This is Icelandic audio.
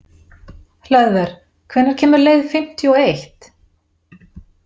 Hlöðver, hvenær kemur leið fimmtíu og eitt?